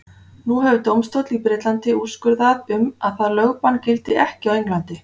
Nú hefur dómstóll í Bretlandi úrskurðað um að það lögbann gildi ekki á Englandi.